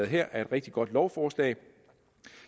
her er et rigtig godt lovforslag